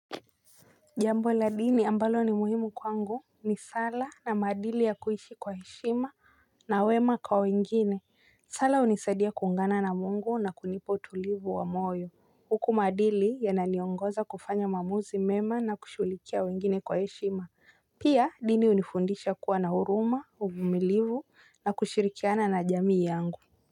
Jambo la dini ambalo ni muhimu kwangu ni sala na maadili ya kuishi kwa heshima. Na wema kwa wengine sala hunisadia kuungana na mungu na kunipa utulivu wa moyo uku maadili yanani ongoza kufanya maamuzi mema na kushughulikia wengine kwa heshima. Pia dini hunifundisha kuwa na huruma uvumilivu na kushirikiana na jamii yangu.